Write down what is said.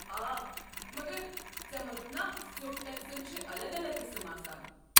آ، مگر ژےٚ ووٚنُتھ نا سیوٚد ٹٮ۪کسن چھِ الگ الگ قٕسٕم آسان؟